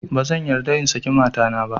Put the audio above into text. Ba zan yarda in saki matana ba